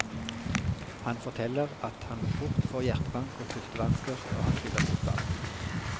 Han forteller at han fort får hjertebank og pustevansker når han spiller fotball.